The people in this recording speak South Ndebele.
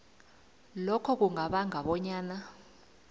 lokho kungabanga bonyana